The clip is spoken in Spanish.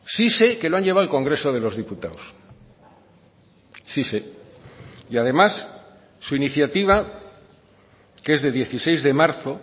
sí sé que lo han llevado al congreso de los diputados sí sé y además su iniciativa que es de dieciséis de marzo